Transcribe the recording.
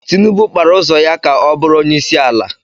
Tinubu kpara ụzọ ya ka ọ bụrụ onyeisiala.